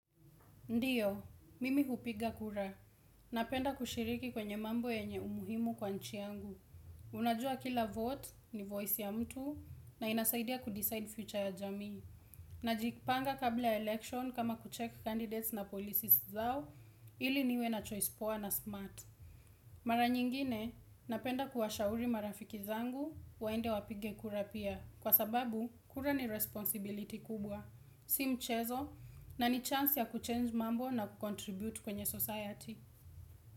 Ndio, mimi hupiga kura. Napenda kushiriki kwenye mambo yenye umuhimu kwa nchi yangu. Unajua kila 'vote' ni 'voice' ya mtu na inasaidia 'kudecide future' ya jamii. Najipanga kabla 'election' kama 'kuchek candidates na policies' zao ili niwe na 'choice poa na smart'. Mara nyingine, napenda kuwashauri marafiki zangu, waende wapige kura pia. Kwa sababu, kura ni 'responsibility' kubwa. Si mchezo na ni 'chance' ya 'kuchange' mambo na 'kukontribute' kwenye 'society'.